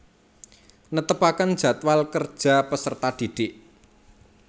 Netepaken jadwal kerja peserta didik